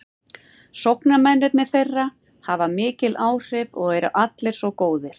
Sóknarmennirnir þeirra hafa mikil áhrif og eru allir svo góðir.